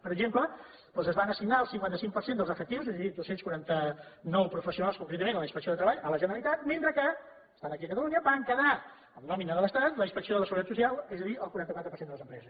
per exemple doncs es van assignar el cinquanta cinc per cent dels efectius és a dir dos cents i quaranta nou professionals concretament a la inspecció de treball a la generalitat mentre que estan aquí a catalunya va quedar amb nòmina de l’estat la inspecció de la seguretat social és a dir el quaranta quatre per cent de les empreses